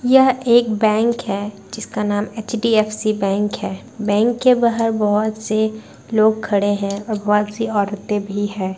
यह एक बैंक है जिसका नाम एच.डी.एफ.सी. बैंक है। बैंक के बाहर बहुत से लोग खड़े हैं और बहुत से औरतें भी हैं।